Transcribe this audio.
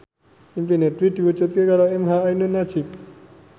impine Dwi diwujudke karo emha ainun nadjib